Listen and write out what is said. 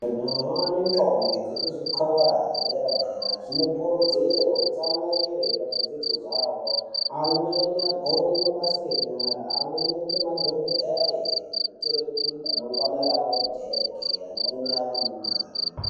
Majaha nendombo dzekuzvikora edera-dera anokurudzirwe kutsamwirire pazvidzidzo zvavo. Amweni agone mabasa enyara amweni aite madhogodheye. Kuitira kuti ramangwana ravo rijeke amweni ave nemari.